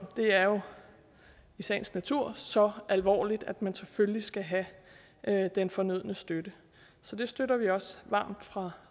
det er jo i sagens natur så alvorligt at man selvfølgelig skal have have den fornødne støtte så det støtter vi også varmt fra